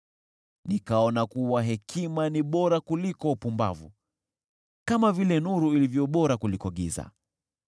Nikaona kuwa hekima ni bora kuliko upumbavu, kama vile nuru ilivyo bora kuliko giza.